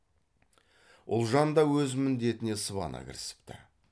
ұлжан да өз міндетіне сыбана кірісіпті